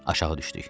Aşağı düşdük.